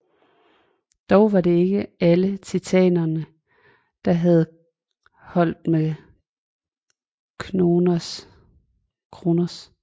Dog var det ikke alle Titanerne der havde holdt med Kronos